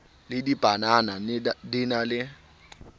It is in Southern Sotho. le dibanana di na le